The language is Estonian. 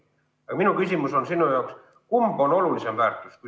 Aga minu küsimus sulle on, et kumb on olulisem väärtus.